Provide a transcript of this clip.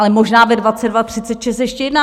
Ale možná ve 22.36 ještě jedná.